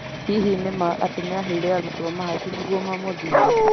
Hihi nĩ ma atĩ nĩaheire arutwo mahaki nĩguo mamũthure?